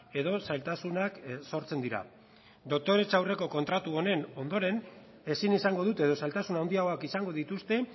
edo zailtasunak sortzen dira doktoretza aurreko kontratu honen ondoren ezin izango dute edo zailtasun handiagoak izango dituzte